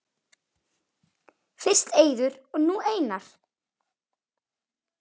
Fyrst Eiður og nú Einar??